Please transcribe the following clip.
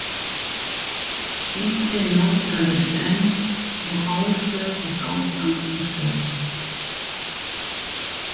Bíllinn nálgaðist enn og Áslaug hélt áfram að skjóta.